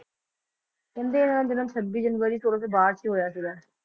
ਕਹਿੰਦੇ ਇਹਨਾਂ ਦਾ ਜਨਮ ਛੱਬੀ ਜਨਵਰੀ ਸੋਲਾਂ ਸੌ ਬਾਹਠ ਚ ਹੋਇਆ ਸੀਗਾ